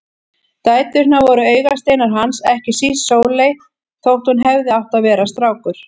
Dæturnar voru augasteinar hans, ekki síst Sóley þótt hún hefði átt að vera strákur.